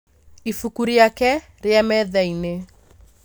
Ibuku rĩake rĩ metha-inĩ